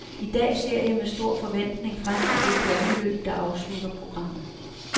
I dag ser jeg med stor forventning frem til det pointløb, der afslutter programmet.